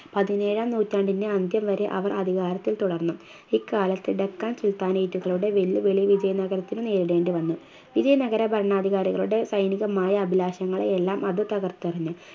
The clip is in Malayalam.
പതിനേഴാം നൂറ്റാണ്ടിൻറെ അന്ത്യം വരെ അവർ അധികാരത്തിൽ തുടർന്നു ഈ കാലത്ത് ഡക്കാൻ സുൽത്താനായിറ്റ്കളുടെ വെല്ലുവിളി വിജയ നഗരത്തിനു നേരിടെണ്ടി വന്നു വിജയ് നഗര ഭരണാധികാരികളുടെ സൈനികമായി അഭിലാഷങ്ങളുമെല്ലാം അത് തകർത്തെറിഞ്ഞു